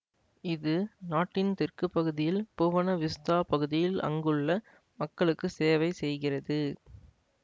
இது நாட்டின் தெற்கு பகுதியில் புவன விஸ்தா பகுதியில் அங்குள்ள மக்களுக்கு சேவைசெய்கிறது